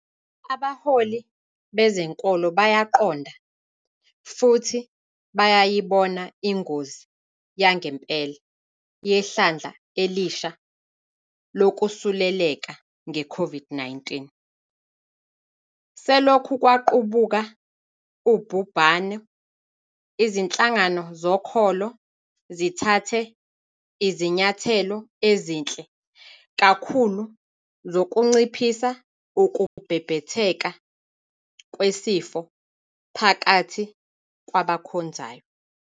Abaholi bezenkolo bayaqonda futhi bayayibona ingozi yangempela yehlandla elisha lokusuleleka ngeCOVID-19. Selokhu kwaqubuka ubhubhane, izinhlangano zokholo zithathe izinyathelo ezinhle kakhulu zokunciphisa ukubhebhetheka kwesifo phakathi kwabakhonzayo.